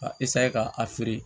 Ka ka a feere